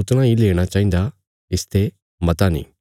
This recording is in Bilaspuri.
उतणा इ लेणा चाहिन्दा इसते मता नीं